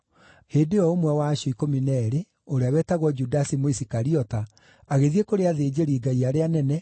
Hĩndĩ ĩyo ũmwe wa acio ikũmi na eerĩ, ũrĩa wetagwo Judasi Mũisikariota, agĩthiĩ kũrĩ athĩnjĩri-Ngai arĩa anene,